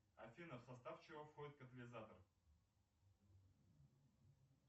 афина в состав чего входит катализатор